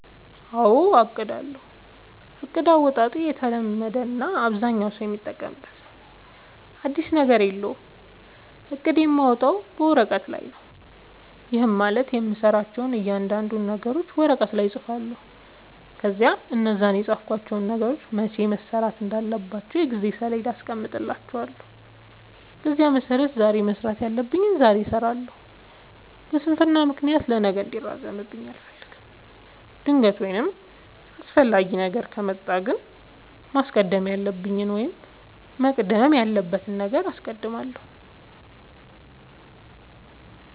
አዎ አቅዳለሁ። እቅድ አወጣጤ የተለመደ እና አብዛኛው ሠው የሚጠቀምበት ነው። አዲስ ነገር የለውም። እቅድ የማወጣው ወረቀት ላይ ነው። ይህም ማለት የምሠራቸውን እያንዳንዱን ነገሮች ወረቀት ላይ እፅፋለሁ። ከዚያ እነዛን የፃፍኳቸውን ነገሮች መቼ መሠራት እንዳለባቸው የጊዜ ሠሌዳ አስቀምጥላቸዋለሁ። በዚያ መሠረት ዛሬ መስራት ያለብኝን ዛሬ እሠራለሁ። በስንፍና ምክንያት ለነገ እንዲራዘምብኝ አልፈልግም። ድንገተኛ ወይም አስፈላጊ ነገር ከመጣ ግን ማስቀደም ያለብኝን ወይም መቅደም ያለበትን አስቀድማለሁ።